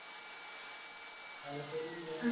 തലശ്ശേരി ബിരിയാണിയോ